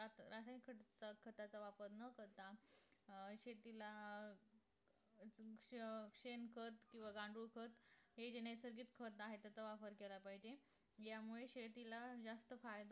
रासायनिक खताचा वापर न करता अं शेतीला शेण खत किंवा गांडूळ खत हे जे नैसर्गिक खत आहे ह्याचा वापर केला पाहिजे यामुळे शेतीला जास्त फायदा